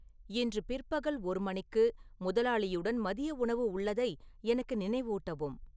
இன்று பிற்பகல் ஒரு மணிக்கு முதலாளியுடன் மதிய உணவு உள்ளதை எனக்கு நினைவூட்டவும்